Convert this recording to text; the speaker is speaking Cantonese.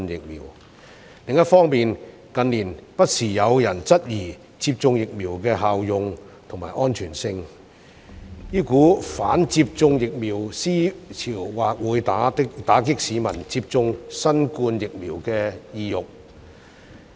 另一方面，近年不時有人質疑接種疫苗的效用及安全性，這股"反接種疫苗"思潮或會打擊市民接種新冠疫苗的意欲。